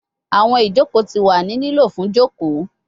Awọn ijoko ti wa ni lilo fun joko